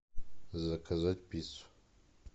заказать пиццу